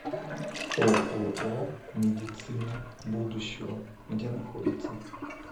ооо медицина будущего где находится